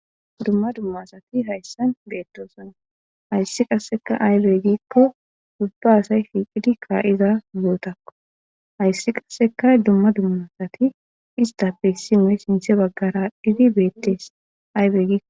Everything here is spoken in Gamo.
Dumma dummasati hayssan beedoosana hayssi qasseka aybegikko dubba asay fiiqidi ka7iza bootakko hayssi qasseka dumma dummasati istappe simey sinthe baggara dhidi beettees aybegiko